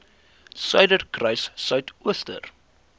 suiderkruissuidooster